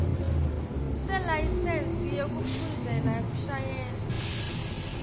selayisensi yekufundzela kushayela